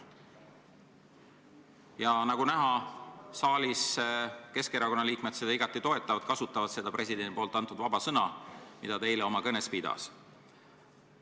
Ja nagu näha, saalis Keskerakonna liikmed seda igati toetavad ja kasutavad presidendi poolt soovitatud vaba sõna, mida ta eile peetud kõnes märkis.